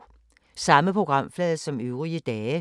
Samme programflade som øvrige dage